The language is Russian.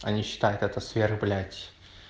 они считают это сверх блять